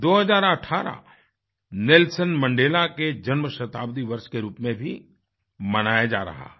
2018 Nelson Mandela के जन्म शताब्दी वर्ष के रूप में भी मनाया जा रहा है